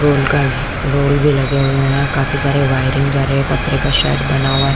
ये उनका रोल भी लगे हुए है काफी सारे वायरिंग जा रहे है पत्र का शैड बना हुआ हैं।